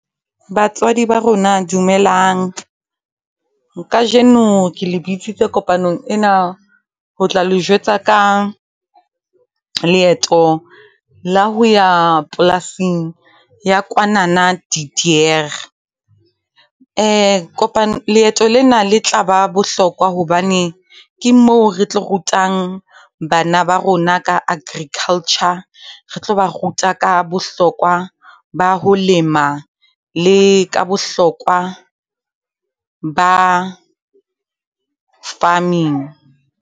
Batswadi ba rona dumelang. Kajeno ke le bitsitse kopanong ena ho tla le jwetsa ka leeto la ho ya polasing ya kwanana De Deur. Kopano leeto lena le tla ba bohlokwa hobane ke moo re tlo rutang bana ba rona ka agriculture, re tlo ba ruta ka bohlokwa ba ho lema, le ka bohlokwa ba farming.